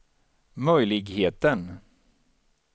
möjligheten